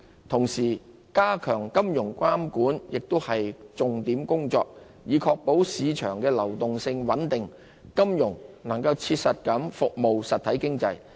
同時，加強金融監管亦是重點工作，以確保市場流動性穩定，金融能切實服務實體經濟。